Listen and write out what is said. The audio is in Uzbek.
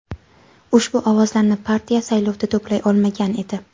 Ushbu ovozlarni partiya saylovda to‘play olmagan edi.